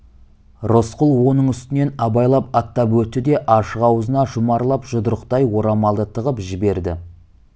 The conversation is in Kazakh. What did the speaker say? рысқұл оның үстінен абайлап аттап өтті де ашық аузына жұмарлап жұдырықтай орамалды тығып жіберді